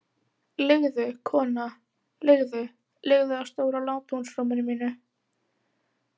Liggðu, kona, liggðu- liggðu á stóra látúnsrúminu mínu.